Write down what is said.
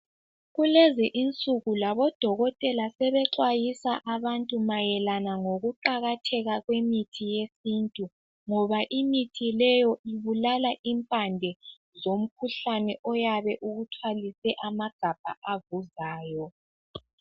Kulezi insuku labo dokotela sebexwayisa abantu mayelana ngokuqakatheka kwemithi yesintu ngoba imithi leyo ibulala impande zomkhuhlane oyabe ukuthwalise amagabha avuzayo.